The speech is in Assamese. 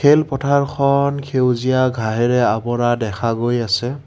খেল পথাৰখন সেউজীয়া ঘাঁহেৰে আৱৰা দেখা গৈ আছে।